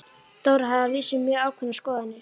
Dóra hafði að vísu mjög ákveðnar skoðanir.